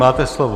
Máte slovo.